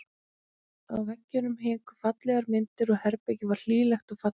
Á veggjunum héngu fallegar myndir og herbergið var hlýlegt og fallegt.